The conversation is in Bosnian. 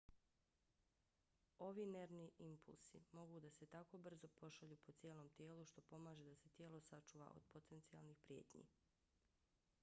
ovi nervni impulsi mogu da se tako brzo pošalju po cijelom tijelu što pomaže da se tijelo sačuva od potencijalnih prijetnji